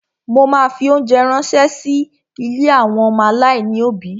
Mo ma fi óńjẹ ránṣẹ́ sí ilé àwọn ọmọ aláìní òbí.